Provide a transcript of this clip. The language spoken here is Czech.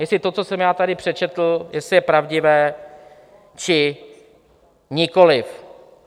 Jestli to, co jsem já tady přečetl, jestli je pravdivé, či nikoliv.